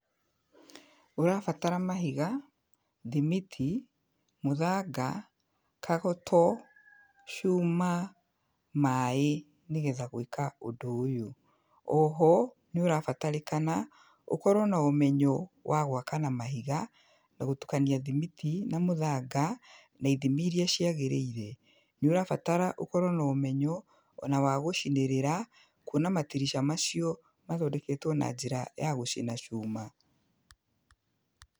Ũrabatara mahiga, thimiti, mũthanga, kagoto, cuma, maaĩ, nĩgetha gwĩka ũndũ ũyũ. Oho nĩ ũrabatarĩkana, ũkorwo na ũmenyo wa gwaka na mahiga, na gũtukania thimiti na mũthanga na ithimi iria ciagĩrĩire. Nĩ ũrabatara ũkorwo na ũmenyo ona wa gũcinĩrĩra, kwona matirica macio mathondeketwo na njĩra ya gũcina cuma.